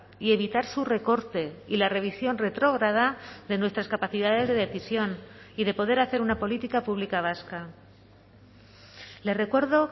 y evitar su recorte y la revisión retrograda de nuestras capacidades de decisión y de poder hacer una política pública vasca le recuerdo